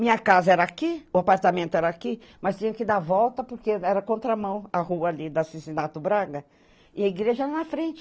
Minha casa era aqui, o apartamento era aqui, mas tinha que dar volta, porque era contramão, a rua ali, da Cicinato Braga, e a igreja era na frente.